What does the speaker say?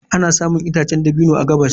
Ana samun itacen dabino a gabas.